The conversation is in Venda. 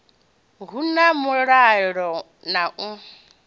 hu na mulalo na u